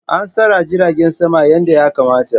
An tsara jiragen sama yadda ya kamata.